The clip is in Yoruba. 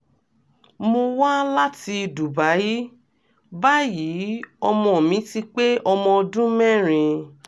mo wá láti dubai báyìí ọmọ mi ti pé ọmọ ọdún mẹ́rin